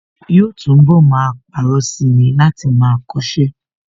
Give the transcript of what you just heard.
Yóò túnbọ̀ máa parọ́ sí i ni láti máa kọṣẹ́